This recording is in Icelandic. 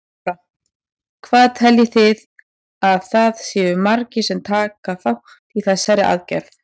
Lára: Hvað teljið þið að það séu margir sem taka þátt í þessari aðgerð?